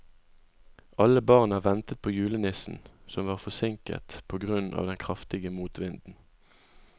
Alle barna ventet på julenissen, som var forsinket på grunn av den kraftige motvinden.